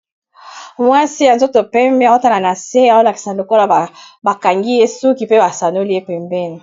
Mwasi, ya nzoto pembe aotala na se. Aolakisa lokolo ba kangi ye suki, pe ba sanoli ye pembene.